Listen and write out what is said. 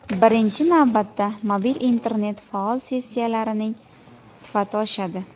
Birinchi navbatda, mobil internet faol sessiyalarining sifati oshadi.